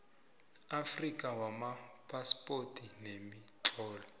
afrika wamaphaspoti nemitlolo